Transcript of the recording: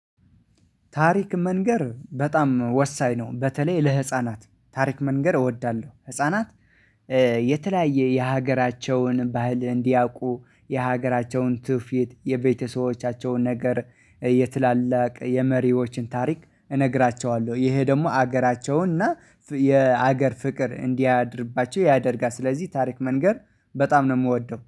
ታሪክ መንገር በጣም ወሳኝ ነው። በተለይ ለህፃናት ታሪክ መንገር እወዳለሁ ህፃናት የተለያየ የሀገራቸውን ባህል እንዲያውቁ የሀገራቸውን ትውፊት የቤተሰቦቻቸውን ነገር የትላላቅ የመሪዎችን ታሪክ እነግራቸዋለሁ። ይሄ ደግሞ ሀገራቸውን እና የአገር ፍቅር እንዲያድርባቸው ያደርጋል ስለዚህ ታሪክ መንገር በጣም ነው የምወደው።